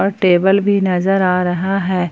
और टेबल भी नजर आ रहा है।